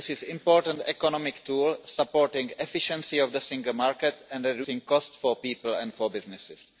It is an important economic tool, supporting the efficiency of the single market and reducing costs for people and for businesses.